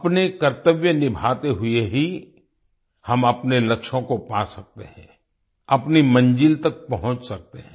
अपने कर्तव्य निभाते हुए ही हम अपने लक्ष्यों को पा सकते हैं अपनी मंजिल तक पहुँच सकते हैं